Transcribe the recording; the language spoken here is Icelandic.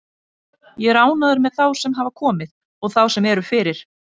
Ég er ánægður með þá sem hafa komið og þá sem eru fyrir.